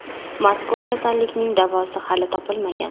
Mazkur kasallikning davosi hali topilmagan.